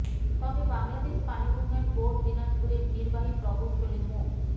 তবে বাংলাদেশ পানি উন্নয়ন বোর্ড দিনাজপুরের নির্বাহী প্রকৌশলী মো